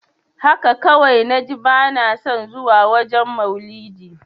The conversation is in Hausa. Haka kawai naji bana son zuwa wajen maulidi.